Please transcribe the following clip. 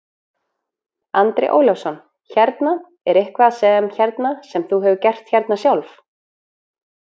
Andri Ólafsson: Hérna, er eitthvað sem, hérna, sem þú hefur gert hérna sjálf?